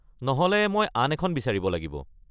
নহ'লে মই আন এখন বিচাৰিব লাগিব।